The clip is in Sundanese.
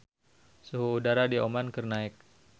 Suhu udara di Oman keur naek